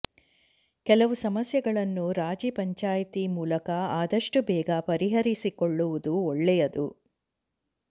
ಕೆಲವು ಸಮಸ್ಯೆಗಳನ್ನು ರಾಜಿ ಪಂಚಾಯ್ತಿ ಮೂಲಕ ಆದಷ್ಟು ಬೇಗ ಪರಿಹರಿಸಿಕೊಳ್ಳವುದು ಒಳ್ಳೆಯದು